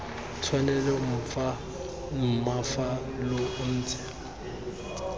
tshwanelo mma fa lo ntse